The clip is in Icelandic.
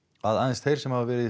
að aðeins þeir sem hafa verið